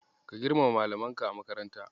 Ka girmama Malamanka a makaranta.